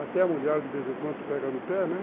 Até a mulher, de vez em quando, pega no pé, né?